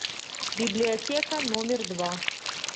библиотека номер два